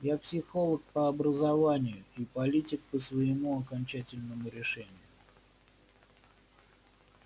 я психолог по образованию и политик по своему окончательному решению